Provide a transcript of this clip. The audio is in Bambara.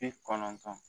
Bi kɔnɔntɔn